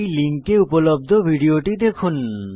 এই লিঙ্কে উপলব্ধ ভিডিওটি দেখুন